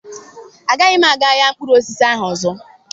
Agaghị m aga ahịa mkpụrụ osisi ahụ ọzọ.